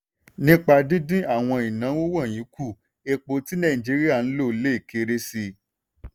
nípa dídín àwọn ìnáwó wọ̀nyí kù epo tí nàìjíríà lò lè kéré sí.